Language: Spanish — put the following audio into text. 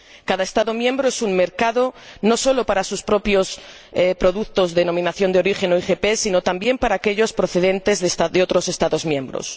Cada Estado miembro es un mercado, no sólo para sus propios productos denominación de origen o IGP, sino también para aquellos procedentes de otros Estados miembros.